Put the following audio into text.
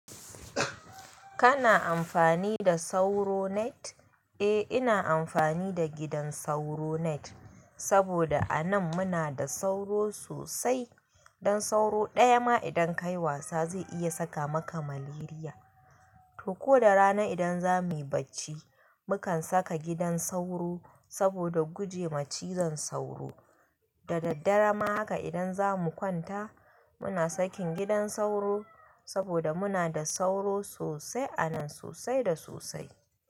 Kana amfani da sauro net? Eh ina amfani da gidan sauro net, saboda anan muna da sauro sosai. Dan sauro daya ma idan kayi wasa zai iya saka maka malaria. To ko da rana idan zamuyi bacci mukan saka gidan sauro saboda gujema cizon sauro. Da daddare ma haka idan zamu kwanta muna sakin gidan sauro saboda muna da sauro sosai anan sosai da sosai.